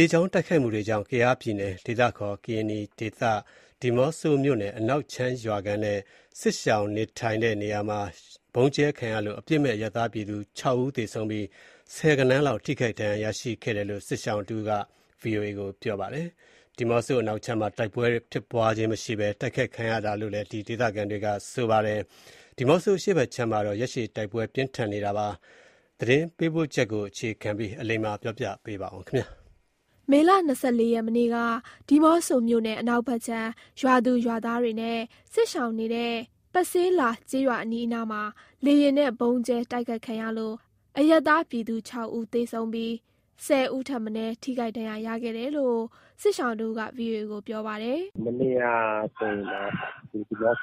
လေကြောင်း တိုက်ခိုက်မှုကြောင့် (ကယား) ကရင်နီပြည်နယ်၊ ဒီးမော့ဆိုမြို့နယ် အနောက်ခြမ်း ရွာခံနဲ့ စစ်ရှောင်နေထိုင်တဲ့နေရာမှာ ဗုံးကြဲခံရလို့ အရပ်သားပြည်သူ ၆ ဦး သေဆုံးပြီး ဆယ်ဂဏန်းလောက် ထိခိုက်ဒဏ်ရာရရှိတယ်လို့ စစ်ရှောင်တဦးက ဗွီအိုအေကို ပြောပါတယ်။ ဒီးမော့ဆို အနောက်ခြမ်းမှာ တိုက်ပွဲဖြစ်ပွားခြင်းမရှိဘဲ တိုက်ခိုက်ခံရတာလို့ ဆိုပါတယ်။ ဒီးမော့ဆို အရှေ့ဘက်ခြမ်းမှာတော့ ရက်ရှည် တိုက်ပွဲပြင်းထန်နေတာ ဖြစ်ပါတယ်။ ဒီအကြောင်း သတင်းပေးပို့ချက်ကို အခြေခံပြီး အလိမ္မာက ပြောပြပါမယ်။ မေလ ၂၄ ရက် မနေ့က ဒီးမော့ဆိုမြို့နယ် အနောက်ဘက်ခြမ်း ရွာသူရွာသားနဲ့ စစ်ရှောင်နေတဲ့ ပဆေးလာကျေးရွာအနီးအနားမှာ လေယာဉ်နဲ့ ဗုံးကြဲတိုက်ခိုက်ခံရလို့ အပြစ်မဲ့အရပ်သားပြည်သူ ၆ဦး သေဆုံးပြီး ၁၀ ဦးထက်မနည်း ထိခိုက်ဒဏ်ရာရခဲ့တယ်လို့ စစ်ရှောင်တဦးက ဗွီအိုအေကို ပြောပါတယ်။ “မနေ့ကဆိုရင်တော့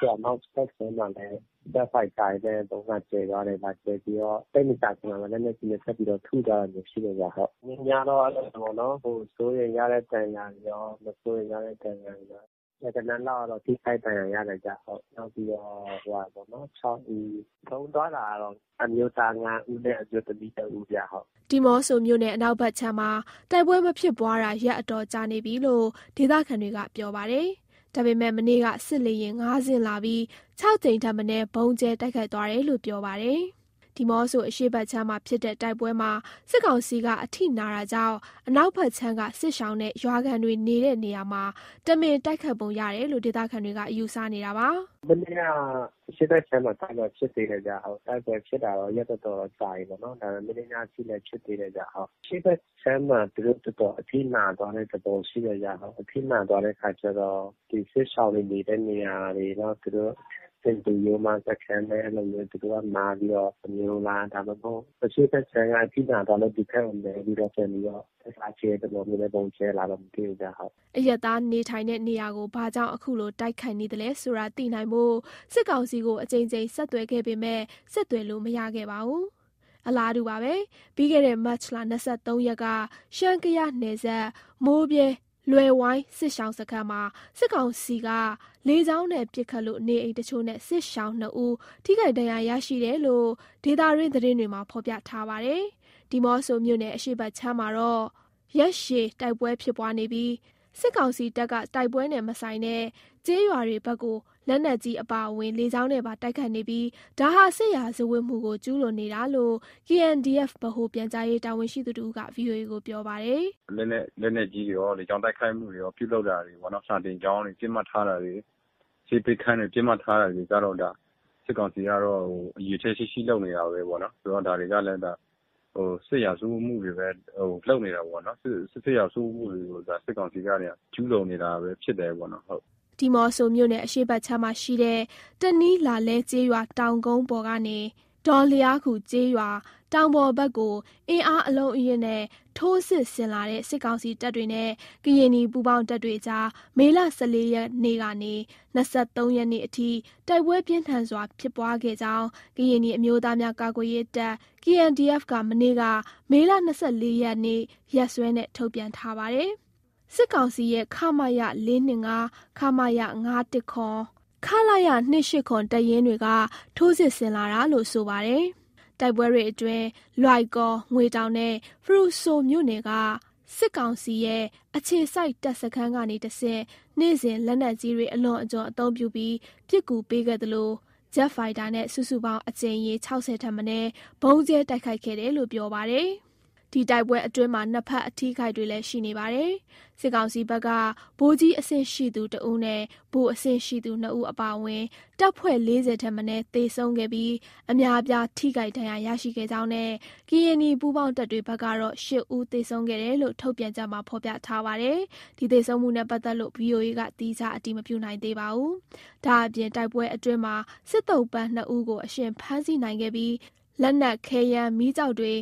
ဒီးမော့ဆို အနောက်ဘက်ခြမ်းမှာလည်း ဂျက်ဖိုက်တာတွေနဲ့ ဗုံးလာကြဲသွားတယ်။ လာကြဲပြီးတော့ သိပ်မကြာခင်မှာပဲ လက်နက်ကြီးတွေ ဆက်ပြီးတော့ ထုသွားတာမျိုး ရှိတယ်ဗျ ဟုတ်။ မနေ့ညကတော့ အဲ့လိုပေါ့နော် စိုးရိမ်ရတဲ့ ဒဏ်ရာတွေရော၊ မစိုးရိမ်ရတဲ့ ဒဏ်ရာတွေရော ဆယ်ဂဏန်းလောက်ကတော့ ထိခိုက် ဒဏ်ရာရတယ်ဗျ ဟုတ်။ နောက်ပြီးတော့ ဟိုဟာပေါ့နော် ၆ ဦး၊ ဆုံးသွားတာကတော့ အမျိုးသား ၅ဦးနဲ့ အမျိုးသမီး ၁ဦးဗျ ဟုတ်။” ဒီးမော့ဆိုမြို့နယ် အနောက်ဘက်ခြမ်းမှာ တိုက်ပွဲမဖြစ်ပွားတာ ရက်အတော်ကြာနေပြီလို့ ဒေသခံတွေက ပြောပါတယ်။ ဒါပေမယ့် မနေ့က စစ်လေယာဉ် ၅ စင်းလာပြီး ၆ ကြိမ်ထက်မနည်း ဗုံးကြဲတိုက်ခိုက်သွားတယ်လို့ ပြောပါတယ်။ ဒီးမော့ဆို အရှေ့ဘက်ခြမ်းမှာ ဖြစ်တဲ့တိုက်ပွဲမှာ စစ်ကောင်စီက အထိနာတာကြောင့် အနောက်ဘက်ခြမ်းက စစ်ရှောင်နဲ့ ရွာခံတွေနေတဲ့နေရာမှာ တမင်တိုက်ခိုက်ပုံရတယ်လို့ ဒေသခံတွေက ယူဆနေတာပါ။ “မနေ့က အရှေ့ဘက်ခြမ်းမှာ တိုက်ပွဲဖြစ်သေးတယ်ဗျ ဟုတ်။ တိုက်ပွဲဖြစ်တာတော့ ရက်တော်တော်ကြာပြီပေါ့နော်။ ဒါပေမယ့် မနေ့ညအထိ ဖြစ်သေးတယ်ဗျ ဟုတ်။ အရှေ့ဘက်ခြမ်းမှာ သူတို့တော်တော်အထိနာသွားတဲ့ သဘောရှိတယ်ဗျ ဟုတ်။ အထိနာသွားတဲ့အခါကျတော့ ဒီစစ်ရှောင်တွေ နေတဲ့နေရာတွေ နောက်သူတို့ (ကာကွယ်ရေး)စခန်းနဲ့ အဲ့လိုမျိုး သူတို့က မှားသွားတာမျိုးလား၊ ဒါမှမဟုတ် အရှေ့ဘက်ခြမ်းက အထိနာသွားလို့ ဒီဘက်ကို မဲပြီးတော့ ပြန်ပြီးတော့ အရှေ့ကကြဲသလိုမျိုး ဗုံးကြဲတာလာတော့ မသိဘူးဗျ ဟုတ်။” အရပ်သားနေထိုင်တဲ့ နေရာကို ဘာကြောင့် အခုလို တိုက်ခိုက်နေသလဲဆိုတာ သိနိုင်ဖို့ စစ်ကောင်စီကို အကြိမ်ကြိမ် ဆက်သွယ်ခဲ့ပေမယ့် ဆက်သွယ်လို့ မရခဲ့ပါဘူး။ အလားတူပဲ ပြီးခဲ့တဲ့ မတ် ၂၃ ရက်က ရှမ်း-ကယားနယ်စပ် မိုးဗြဲ လွယ်ဝိုင်းစစ်ရှောင်စခန်းမှာ စစ်ကောင်စီက လေကြောင်းနဲ့ ပစ်ခတ်လို့ နေအိမ်တချို့နဲ့ စစ်ရှောင် ၂ဦး ထိခိုက်ဒဏ်ရာရရှိတယ်လို့ ဒေသတွင်းသတင်းတွေမှာ ဖော်ပြထားပါတယ်။ ဒီးမော့ဆိုမြို့နယ် အရှေ့ဘက်မှာတော့ ရက်ရှည် တိုက်ပွဲဖြစ်ပွားနေပြီး စစ်ကောင်စီတပ်က တိုက်ပွဲနဲ့မဆိုင်တဲ့ ကျေးရွာဘက်ကို လက်နက်ကြီးအပါအဝင် လေကြောင်းနဲ့ပါ တိုက်ခိုက်နေပြီး ဒါဟာ စစ်ရာဇဝတ်မှုကို ကျူးလွန်နေတာလို့ KNDF ဗဟိုပြန်ကြားရေး တာဝန်ရှိသူတဦးက ဗွီအိုအေကို ပြောပါတယ်။ “လက်နက်ကြီးတွေရော၊ လေကြောင်းတိုက်ခိုက်မှုတွေရော ပြုလုပ်လာတယ်ပေါ့နော်။ စာသင်ကျောင်းတွေ ပစ်မှတ်ထားတာတွေ၊ ဆေးပေးခန်းတွေ ပစ်မှတ်ထားတာတွေက ဒါ စစ်ကောင်စီကတော့ ရည်ရွယ်ချက်ရှိရှိ လုပ်နေတာပဲပေါ့နော်။ ဆိုတော့ ဒါတွေကလည်း စစ်ရာဇဝတ်မှုတွေပဲ လုပ်နေတာပေါ့နော်။ စစ်ရာဇဝတ်တွေကို ဒါ စစ်ကောင်စီက ကျူးလွန်နေတာပဲ ဖြစ်တယ်ပေါ့နော် ဟုတ်။” ဒီးမော့ဆိုမြို့နယ် အရှေ့ဘက်ခြမ်းမှာရှိတဲ့ တနီးလာလဲ ကျေးရွာတောင်ကုန်းပေါ်ကနေ ဒေါလျားခူ ကျေးရွာ တောင်ပေါ်ဘက်ကို အင်အားအလုံးအရင်းနဲ့ ထိုးစစ်ဆင်လာတဲ့ စစ်ကောင်စီတပ်တွေနဲ့ ကရင်နီပူးပေါင်းတပ်တွေအကြား မေလ ၁၄ ရက်ကနေ ၂၃ ရက်နေ့အထိ တိုက်ပွဲ ပြင်းထန်စွာ ဖြစ်ပွားခဲ့ကြောင်း ကရင်နီအမျိုးသားများ ကာကွယ်ရေးတပ်(KNDF) က မနေ့ မေလ ၂၄ ရက်နေ့ ရက်စွဲနဲ့ ထုတ်ပြန်ထားပါတယ်။ စစ်ကောင်စီရဲ့ ခမရ(၄၂၅)၊ ခမရ(၅၁၇)၊ ခလရ(၂၈၇) တပ်ရင်းတွေက ထိုးစစ်ဆင်လာတာလို့ ဆိုပါတယ်။ တိုက်ပွဲတွေအတွင်း လွိုင်ကော်၊ ငွေတောင်နဲ့ ဖရူဆိုမြို့နယ်က စစ်ကောင်စီရဲ့ အခြေစိုက်တပ်စခန်းကနေတဆင့် နေ့စဉ် လက်နက်ကြီးတွေ အလွန်အကျွံအသုံးပြုပြီး ပစ်ကူပေးခဲ့သလို ဂျက်ဖိုက်တာနဲ့ စုစုပေါင်း အကြိမ်ရေ ၆၀ ထက်မနည်း ဗုံးကြဲ တိုက်ခိုက်ခဲ့တယ်လို့ ပြောပါတယ်။ ဒီတိုက်ပွဲအတွင်းမှာ နှစ်ဘက် အထိအခိုက်တွေလည်း ရှိနေပါတယ်။ စစ်ကောင်စီဘက်က ဗိုလ်ကြီးအဆင့်ရှိသူ (၁)ဦးနဲ့ ဗိုလ်အဆင့်ရှိသူ (၂)ဦး အပါအဝင် တပ်ဖွဲ့ ၄၀ ထက်မနည်း သေဆုံးခဲ့ပြီး အများအပြား ထိခိုက်ဒဏ်ရာရရှိခဲ့ကြောင်းနဲ့ ကရင်နီ ပူးပေါင်းတပ်တွေဖက်ကတော့ ၈ဦး သေဆုံးခဲ့တယ်လို့ ထုတ်ပြန်ချက်မှာ ဖော်ပြထားပါတယ်။ ဒီသေဆုံးမှုနဲ့ ပတ်သက်လို့ ဗွီအိုအေက သီးခြား အတည်မပြုနိုင်သေးပါဘူး။ ဒါ့အပြင် တိုက်ပွဲအတွင်းမှာ စစ်သုံ့ပန်း ၂ ဦးကို အရှင်ဖမ်းဆီးနိုင်ခဲ့ပြီး လက်နက်၊ ခဲယမ်းမီးကျောက်တွေ၊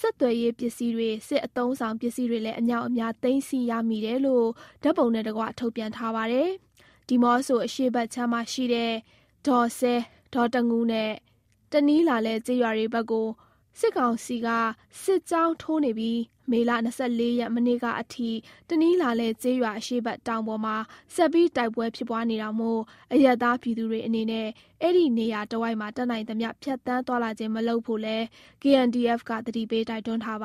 ဆက်သွယ်ရေးပစ္စည်းတွေ၊ စစ်အသုံးအဆောင်ပစ္စည်းတွေလည်း အမြောက်အများ သိမ်းစည်းရမိတယ်လို့ ဓာတ်ပုံနဲ့တကွ ထုတ်ပြန်ထားပါတယ်။ ဒီးမော့ဆိုအရှေ့ဘက်ခြမ်းမှာရှိတဲ့ ဒေါစဲ၊ ဒေါတငူး နဲ့ တနီးလာလဲ ကျေးရွာတွေဘက်ကို စစ်ကောင်စီက စစ်ကြောင်းထိုးနေပြီး မတ် ၂၄ ရက် မနေ့ကအထိ တနီးလာလဲ ကျေးရွာအရှေ့ဖက် တောင်ပေါ်မှာ ဆက်ပြီး တိုက်ပွဲဖြစ်ပွားနေတာမို့ အရပ်သားပြည်သူတွေအနေနဲ့ အဲ့ဒီနေရာတဝိုက်မှာ တတ်နိုင်သမျှ ဖြတ်သန်းသွားလာခြင်းမလုပ်ဖို့ KNDF က သတိပေး တိုက်တွန်းထားပါ